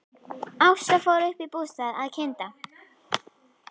Ásta fór upp í bústað að kynda.